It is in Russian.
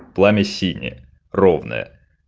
пламя синее ровное